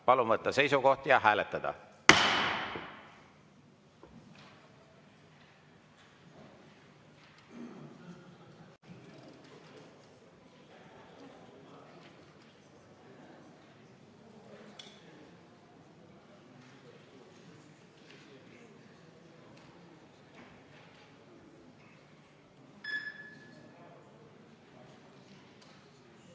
Palun võtta seisukoht ja hääletada!